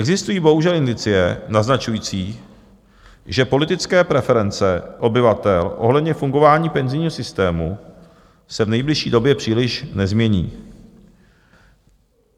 Existují bohužel indicie naznačující, že politické preference obyvatel ohledně fungování penzijního systému se v nejbližší době příliš nezmění.